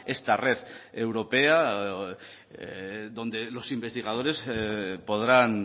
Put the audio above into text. esta red europea donde los investigadores podrán